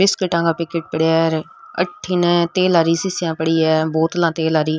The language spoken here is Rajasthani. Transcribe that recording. बिस्किटा का पैकेट पड़िया है और अठीने तेलारी शीशियाँ पड़ी है बोतलआं तेलारी।